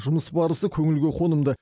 жұмыс барысы көңілге қонымды